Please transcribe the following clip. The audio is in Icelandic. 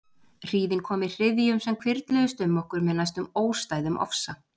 Hríðin kom í hryðjum sem hvirfluðust um okkur með næstum óstæðum ofsa.